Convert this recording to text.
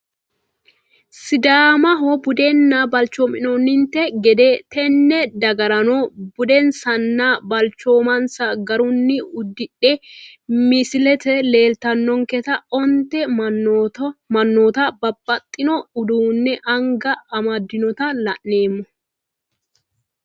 Sidaamaho budduna balcoomo nonte gede tenne dagarano budinsana balcoominsa garini udidhe misilete leelatanonketa onte manoota babaxino uduune anga amadinota la`neemo.